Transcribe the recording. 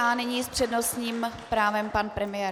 A nyní s přednostním právem pan premiér.